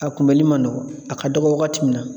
A kunbɛli man nɔgɔn a ka dɔgɔ wagati min na